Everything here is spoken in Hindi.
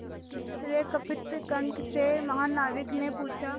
आश्चर्यकंपित कंठ से महानाविक ने पूछा